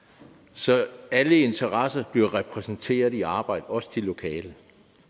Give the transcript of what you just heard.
så alle interesser bliver repræsenteret i arbejdet også de lokale